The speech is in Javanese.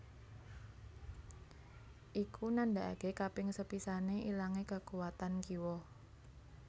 Iku nandakaké kaping sepisané ilangé kakuwatan kiwa